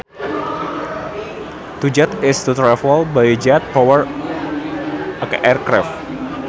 To jet is to travel by a jet powered aircraft